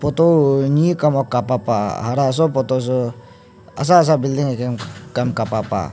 toh niy aku kapa pah hara soh photo soh ahsa ahsa building ahguim kapa pah.